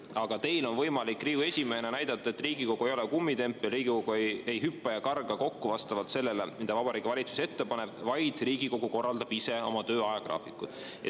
Aga teil on võimalik Riigikogu esimehena näidata, et Riigikogu ei ole kummitempel, Riigikogu ei hüppa ja karga kokku vastavalt sellele, mida Vabariigi Valitsus ette paneb, vaid korraldab ise oma töö ajagraafikut.